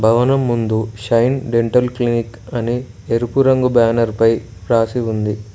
భవనం ముందు shine dental clinic అని ఎరుపు రంగు బ్యానర్ పై రాసి ఉంది.